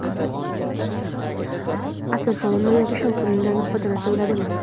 atir sovun yoki shampundan foydalansa bo‘ladimi?.